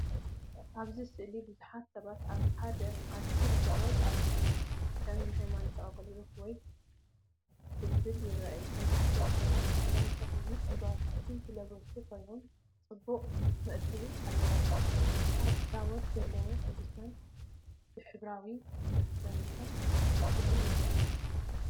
ኣብዚ ስእሊ ብዙሓት ሰባት ኣብ ሓደ ዓቢ ኣደባባይ ተኣኪቦም፡ ከም ንሃይማኖታዊ ኣገልግሎት ወይ ጽምብል ይረኣዩ። መብዛሕትኦም ሰባት ጻዕዳን ጸሊምን ዕምባባታት ዝለበሱ ኮይኖም፡ ጽቡቕ መእተዊ ኣለዎም። ኣብ ታቦት ዘለዉ ቅዱሳን ብሕብራዊ መሸፈኒታት ተሸፊኖም ይረኣዩ።